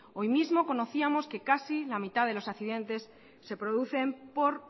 hoy mismo conocíamos que casi la mitad de los accidentes se producen por